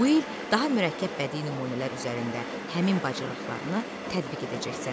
Bu il daha mürəkkəb bədii nümunələr üzərində həmin bacarıqlarını tətbiq edəcəksən.